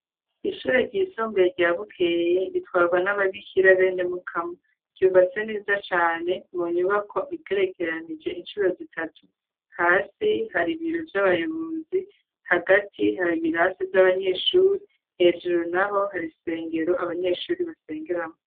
Ishure ry'isumbuye rya Bukeye ritwarwa n'ababikhira Benemukamu ryubatse neza cane Mu nyubako igerekeranije inshuro zitatu hasi hari ibiro vy'abayobozi, hagati hari ibirasa vy'abanyeshure , hejuru naho hari isengero abanyeshuri basengeramo.